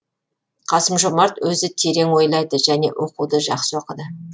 қасым жомарт өзі терең ойлайды және оқуды жақсы оқыды